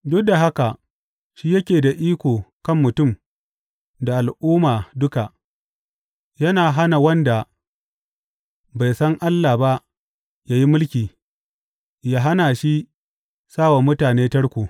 Duk da haka shi yake da iko kan mutum da al’umma duka, yana hana wanda bai san Allah ba yă yi mulki, ya hana shi sa wa mutane tarko.